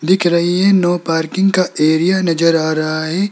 लिख रही है नो पार्किंग का एरिया नजर आ रहा है।